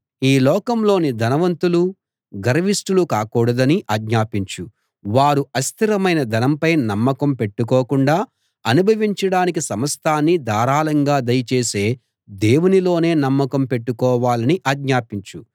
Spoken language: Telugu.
ఈ లోకంలోని ధనవంతులు గర్విష్టులు కాకూడదని ఆజ్ఞాపించు వారు అస్థిరమైన ధనంపై నమ్మకం పెట్టుకోకుండా అనుభవించడానికి సమస్తాన్నీ ధారాళంగా దయచేసే దేవునిలోనే నమ్మకం పెట్టుకోవాలని ఆజ్ఞాపించు